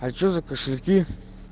а что за кошельки